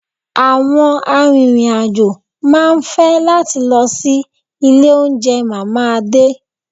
Àwọn arìnrìn-àjò máa ń fẹ́ láti lọ sí ilé oúnjẹ Mama Ade